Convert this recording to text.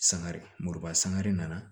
Sangare muruba sangare nana